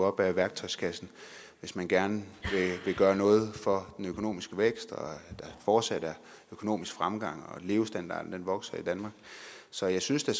op af værktøjskassen hvis man gerne vil gøre noget for den økonomiske vækst og der fortsat er økonomisk fremgang og levestandarden vokser i danmark så jeg synes da